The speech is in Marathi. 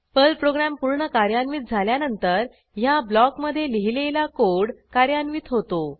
पर्ल प्रोग्रॅम पूर्ण कार्यान्वित झाल्यानंतर ह्या ब्लॉकमधे लिहिलेला कोड कार्यान्वित होतो